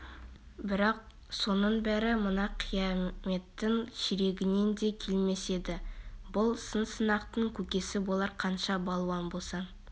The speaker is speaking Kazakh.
бірақ соның бәрі мына қияметтің ширегінен де келмес еді бұл сын-сынақтың көкесі болар қанша балуан болсаң